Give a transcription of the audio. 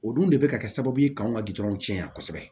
O dun de bɛ ka kɛ sababu ye k'an ka gudɔrɔn can kosɛbɛ